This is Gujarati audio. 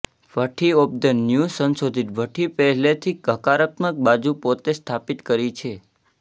ભઠ્ઠી ઓફ ધ ન્યૂ સંશોધિત ભઠ્ઠી પહેલેથી હકારાત્મક બાજુ પર પોતે સ્થાપિત કરી છે